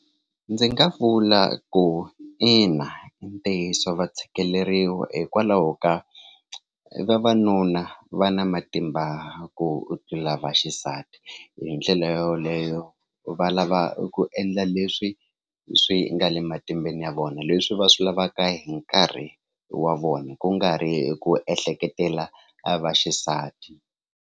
Ndzi nga vula ku ina i ntiyiso va tshikeleriwa hikwalaho ka vavanuna va na matimba ku tlula vaxisati hi ndlela yo yoleyo va lava ku endla leswi swi nga le matimbeni ya vona leswi va swi lavaka hi nkarhi wa vona ku nga ri ku ehleketela a vaxisati.